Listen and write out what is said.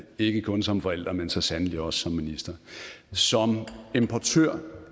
ikke kun som forælder men så sandelig også som minister som importør